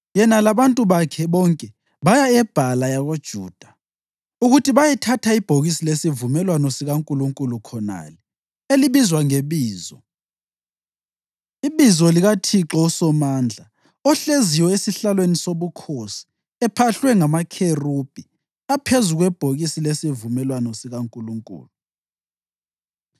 Yena labantu bakhe bonke baya eBhala yakoJuda ukuthi bayethatha ibhokisi lesivumelwano sikaNkulunkulu khonale elibizwa ngeBizo, ibizo likaThixo uSomandla, ohleziyo esihlalweni sobukhosi ephahlwe ngamakherubhi aphezu kwebhokisi lesivumelwano sikaNkulunkulu.